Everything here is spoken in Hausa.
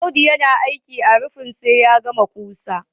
Audu yana aiki a rufin sai ya gama ƙusa